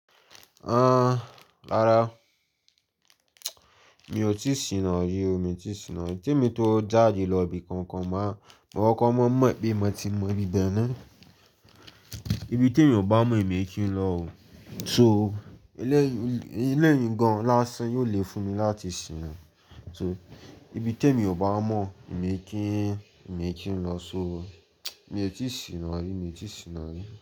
Ah, rárá. Mi ò tíì siná rí o, mi ò tíì siná rí. Tí mo tó jáde lọ ibi kankan má, wọn kankan máa mọ̀ pé mo ti mọ ibi dáná. Ibi tí èmi ò bá mọ̀ èmi kì í lọ o. So eléyìí, eléyìí gan-an lásán yóò le fún mi láti siná. So ibi tí èmi ò bá mọ̀ èmi kì í, èmi kì í lọ. So mi ò tíì siná rí, mi ò tí siná rí.